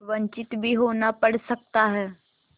वंचित भी होना पड़ सकता है